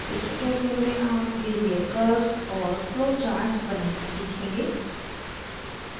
इस tutorial में आप beizer curves और flowcharts बनाना सीखेंगे